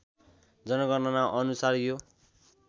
जनगणना अनुसार यो